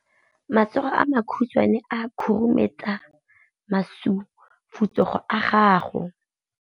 Matsogo a makhutshwane a khurumetsa masufutsogo a gago.